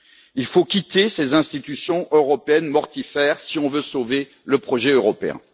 Il faut quitter ces institutions européennes mortifères, si on veut sauver le projet européen.